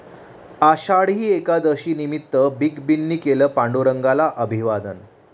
आषाढी एकादशीनिमित्त बिग बींनी केलं पांडुरंगाला अभिवादन